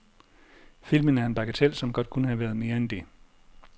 Filmen er en bagatel, som godt kunne have været mere end det.